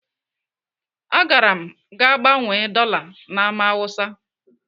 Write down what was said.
Agara m gaa gbanwee dọla na Ámá Hausa.